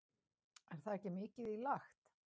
Heimir: Er það ekki mikið í lagt?